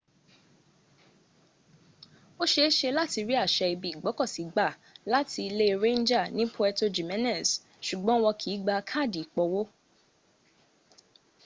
ó ṣe é ṣe láti rí àṣẹ ibi ìgbọ́kọ̀ sí gbà láti ilé ranger ni puerto jiménez ṣùgbọ́n wọn kìí gba kààdì ìpọwó